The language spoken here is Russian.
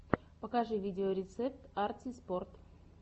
покажи видеорецепт арти спорт